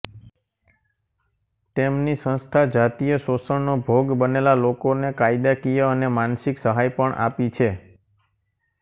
તેમની સંસ્થા જાતીય શોષણનો ભોગ બનેલા લોકોને કાયદાકીય અને માનસિક સહાય પણ આપી છે